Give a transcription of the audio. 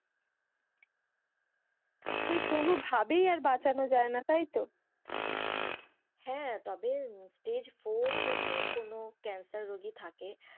কোনো ভাবে আর বাঁচানোই যায় না তাইতো, হ্যাঁ, তবে stage four যদি কোনো ক্যান্সার রোগী থাকে।